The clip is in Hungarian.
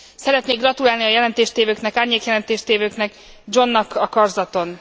Szeretnék gratulálni a jelentéstévőknek, árnyék jelentéstévőknek, Johnnak a karzaton.